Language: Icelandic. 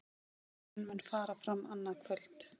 Fundurinn mun fara fram annað kvöld